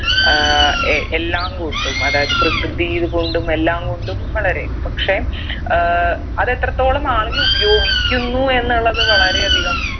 ഏർ എ എല്ലാം കൊണ്ടും അതായത് പ്രകൃതിയ്ത് കൊണ്ടും എല്ലാം കൊണ്ടും വളരെ പക്ഷെ ഏർ അത് എത്രത്തോളം ആളുകൾ ഉപയോഗിക്കുന്നു എന്നുള്ളത് വളരെ അധികം